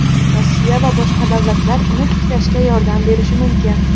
Rossiya va boshqa davlatlar uni tiklashga yordam berishi mumkin.